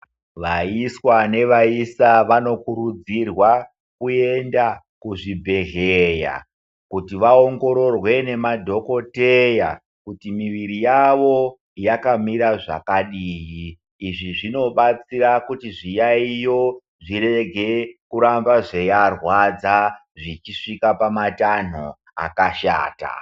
Vaiswa nevaisa vanokurudzirwa kuenda kuzvibhedhlera kuti vaongorerwa nemadhokoteya kuti muviri yavo yakamira zvakadini izvi zvinobatsaira kuti zviyayiyo zvirege kuramba zveiarwadza zvichisvika patanho akashata.